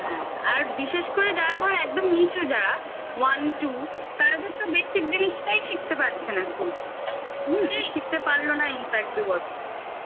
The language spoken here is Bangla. হ্যাঁ আর বিশেষ করে যারা ধরো একদম নিচু যারা one two তাদের তো basic জিনিসটাই শিখতে পারছে নাschool থেকে হুম school শিখতে পারল না infact দু বছর